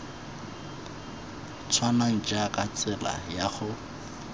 tshwanang jaaka tsela ya go